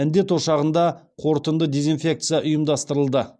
індет ошағында қорытынды дезинфекция ұйымдастырылды